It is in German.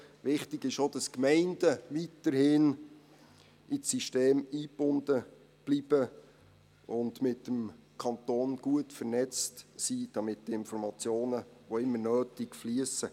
Wichtig ist auch, dass die Gemeinden weiterhin in das System eingebunden bleiben und mit dem Kanton gut vernetzt sind, damit die Informationen, wo immer nötig, fliessen.